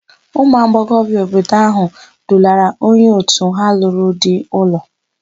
Ụmụagbọghọbịa obodo áhụ̀ dulara onye òtù ha lụrụ di ụlọ.